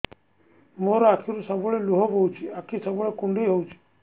ମୋର ଆଖିରୁ ସବୁବେଳେ ଲୁହ ବୋହୁଛି ଆଖି ସବୁବେଳେ କୁଣ୍ଡେଇ ହଉଚି